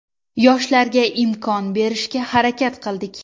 Yoshlarga imkon berishga harakat qildik.